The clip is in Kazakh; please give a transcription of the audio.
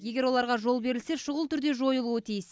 егер оларға жол берілсе шұғыл түрде жойылуы тиіс